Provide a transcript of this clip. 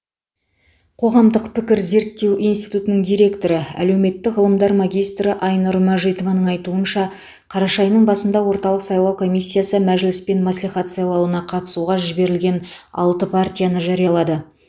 қоғамдық пікір зерттеу институтының директоры әлеуметтік ғылымдар магистрі айнұр мәжитованың айтуынша қараша айының басында орталық сайлау комиссиясы мәжіліс пен мәслихат сайлауына қатысуға жіберілген алты партияны жариялады